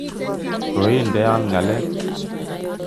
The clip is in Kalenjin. Koideon ngalek